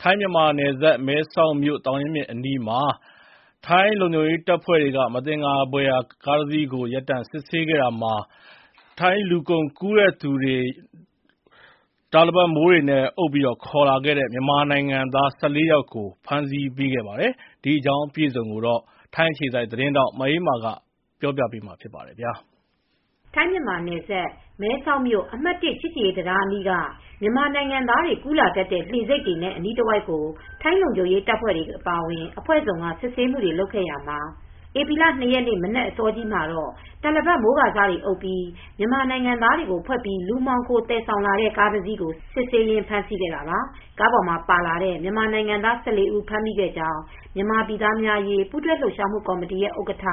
ထိုင်း-မြန်မာနယ်စပ် မဲဆောက်မြို့ သောင်ရင်းမြစ်အနီးမှာ ထိုင်းလုံခြုံရေးတပ်ဖွဲ့တွေက မသင်္ကာဖွယ် ကားတစီးကို ရပ်တန့်စစ်ဆေးခဲ့ရာမှာ လူကုန်ကူးသူတွေက တာလပတ်မိုးကာစများနဲ့ အုပ်ပြီး ခေါ်လာတဲ့ မြန်မာနိုင်ငံသား ၁၄ ဦးကို ဧပြီလ ၂ ရက်နေ့က ဖမ်းမိခဲ့ပါတယ်။ ဒီသတင်းကို ဗွီအိုအေသတင်းထောက် မအေးအေးမာ သတင်းပေးပို့ထားပါတယ်။ ထိုင်း-မြန်မာနယ်စပ် မဲဆောက်မြို့ အမှတ် ၁ ချစ်ကြည်ရေးတံတားအနီးက မြန်မာနိုင်ငံသားတွေ ကူးလာတတ်တဲ့ လှေဆိပ်တွေနဲ့ အနီးတဝိုက်ကို ထိုင်းလုံခြုံရေးတပ်ဖွဲ့တွေ အပါအဝင် အဖွဲ့စုံက စစ်ဆေးမှုတွေ လုပ်ခဲ့ရာမှာ ဧပြီလ ၂ ရက်နေ့ မနက်အစောကြီးမှာတော့ တာလပတ်မိုးကာစတွေ အုပ်ပြီး မြန်မာနိုင်ငံသားတွေကို ဖွက်ပြီး လူမှောင်ခိုသယ်ဆောင်လာတဲ့ ကားတစီးကို စစ်ဆေးရင်း ဖမ်းဆီးခဲ့တာပါ။ ကားပေါ်မှာပါလာတဲ့ မြန်မာနိုင်ငံသား ၁၄ ဦး ဖမ်းမိခဲ့ကြောင်း မြန်မာပြည်သားများအရေး ပူးတွဲလှုပ်ရှားမှု ကော်မတီရဲ့ ဥက္ကဋ္ဌ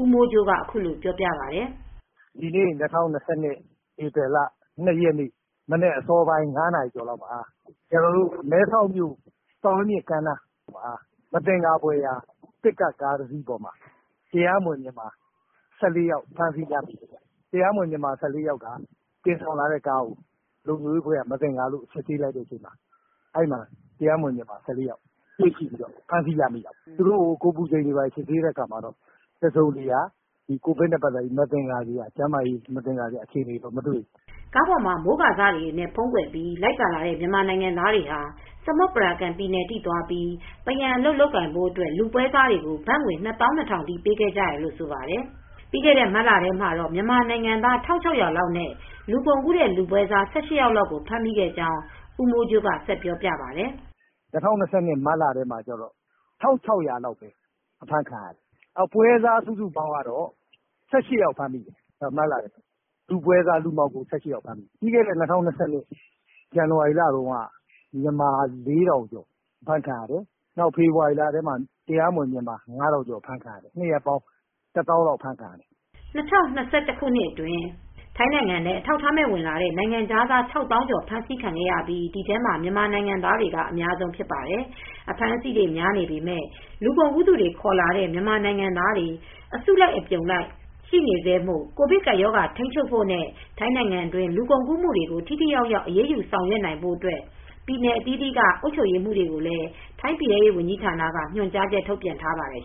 ဦးမိုးကြိုးက အခုလိုပြောပါတယ်။ “ဒီနေ့ ၂၀၂၂ ခုနှစ် ဧပြီလ ၂ ရက်နေ့ မနက်အစောပိုင်း ၅ နာရီကျော်လောက်မှာ မဲဆောက်မြို့ သောင်ရင်းမြစ်ကမ်းနားမှာ မသင်္ကာဖွယ် ပစ်ကပ်ကားတစီးပေါ်မှာ တရားမဝင် မြန်မာ ၁၄ ယောက် ဖမ်းမိတယ်။ မြန်မာတွေတင်လာတဲ့ ကားကို လုံခြုံရေးအဖွဲ့က စစ်ဆေးတဲ့အခါမှာ တရားမဝင် မြန်မာ ၁၄ ယောက်ကို တွေ့ပြီး ဖမ်းလိုက်တယ်။ သူတို့ကို ကိုယ်ပူချိန်စစ်တာ၊ ကိုဗစ်ကပ်ရောဂါကို စစ်တာတော့ ကျန်းမာရေးနဲ့ ပတ်သက်လို့ မသင်္ကာစရာ အခြေအနေတွေ ဘာမှမတွေ့ရဘူး။” ကားပေါ်မှာ မိုးကာစတွေနဲ့ ဖုံးကွယ်ပြီး လိုက်ပါလာတဲ့ မြန်မာနိုင်ငံသားတွေဟာ စမွတ်ပရာကန်ပြည်နယ်အထိ သွားပြီး ပန်းရံအလုပ် လုပ်ကိုင်ဖို့အတွက် လူပွဲစားတွေကို ဘတ်ငွေ ၂၂,၀၀၀ ထိ ပေးခဲ့ကြရတယ်လို့ ဆိုပါတယ်။ ပြီးခဲ့တဲ့ မတ်လထဲမှာတော့ မြန်မာနိုင်ငံသား ၁,၆၀၀ လောက်နဲ့ လူကုန်ကူးတဲ့ လူပွဲစား ၁၈ ယောက်လောက် ဖမ်းမိခဲ့ကြောင်းကိုလည်း ဦးမိုးကြိုးက ပြောပါတယ်။ “၂၀၂၂ ခုနှစ် မတ်လထဲမှာ ၁,၆၀၀ လောက် ဖမ်းခံရတယ်။ ပွဲစားစုစုပေါင်း ၁၈ ယောက် ဖမ်းမိတယ်။ မတ်လထဲမှာ လူပွဲစား လူမှောင်ခို ဖမ်းမိတာပါ။ ပြီးခဲ့တဲ့ ဇန်နဝါရီလထဲမှာတော့ မြန်မာ ၄,၀၀၀ ကျော် အဖမ်းခံရတယ်။ ဖေဖော်ဝါရီလထဲမှာတော့ ၅,၀၀၀ ကျော် ဖမ်းခံရတယ်။ ၂ လပေါင်းတော့ ၁၀,၀၀၀ လောက် ဖမ်းခံရတယ်။” ၂၀၂၁ ခုနှစ်အတွင်း ထိုင်းနိုင်ငံထဲ အထောက်အထားမဲ့ ဝင်လာတဲ့ နိုင်ငံခြားသား ၆၀,၀၀၀ ကျော် ဖမ်းဆီးခံရပြီး ဒီထဲမှာ မြန်မာနိုင်ငံသားတွေက အများဆုံး ဖြစ်ပါတယ်။ အဖမ်းအဆီးတွေ များနေပေမယ့် လူကုန်ကူးသူတွေ ခေါ်လာတဲ့ မြန်မာနိုင်ငံသားတွေ အစုလိုက် အပြုံလိုက် ရှိနေဆဲမို့ ကိုဗစ်ကပ်ရောဂါကို ထိန်းချုပ်ဖို့နဲ့ ထိုင်းနိုင်ငံတွင်း လူကုန်ကူးမှုတွေကို ထိထိရောက်ရောက် အရေးယူဆောင်ရွက်နိုင်ဖို့ ပြည်နယ်အသီးသီးက အုပ်ချုပ်ရေးမှူးတွေကိုလည်း ထိုင်းပြည်ထဲရေး ဝန်ကြီးဌာနက ညွှန်ကြားချက် ထုတ်ပြန်ထားပါတယ်